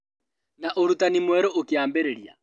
Na ũrutani mwerũ ukĩambĩrĩria